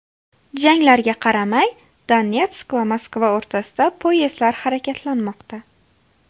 Janglarga qaramay, Donetsk va Moskva o‘rtasida poyezdlar harakatlanmoqda.